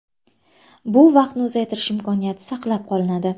Bu vaqtni uzaytirish imkoniyati saqlab qolinadi.